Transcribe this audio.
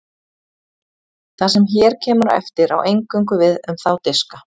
Það sem hér kemur á eftir á eingöngu við um þá diska.